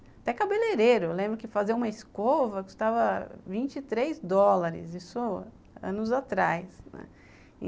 Até cabeleireiro, eu lembro que fazer uma escova custava vinte três dólares, isso anos atrás, né